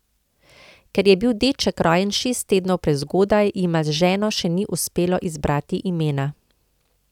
Ker je bil deček rojen šest tednov prezgodaj, jima z ženo še ni uspelo izbrati imena.